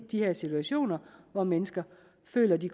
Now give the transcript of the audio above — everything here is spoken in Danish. de her situationer hvor mennesker føler at de